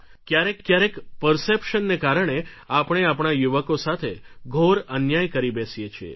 ક્યારેક ક્યારેક પર્સેપ્શન ને કારણે આપણે આપણા યુવકો સાથે ઘોર અન્યાય કરી બેસીએ છીએ